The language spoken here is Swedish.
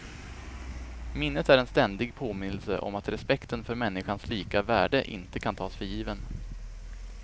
Minnet är en ständig påminnelse om att respekten för människans lika värde inte kan tas för given.